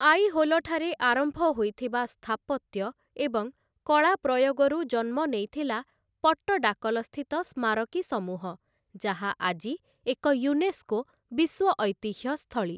ଆଇହୋଲଠାରେ ଆରମ୍ଭ ହୋଇଥିବା ସ୍ଥାପତ୍ୟ ଏବଂ କଳା ପ୍ରୟୋଗରୁ ଜନ୍ମ ନେଇଥିଲା ପଟ୍ଟଡାକଲସ୍ଥିତ ସ୍ମାରକୀ ସମୂହ, ଯାହା ଆଜି ଏକ ୟୁନେସ୍କୋ ବିଶ୍ୱ ଐତିହ୍ୟ ସ୍ଥଳୀ ।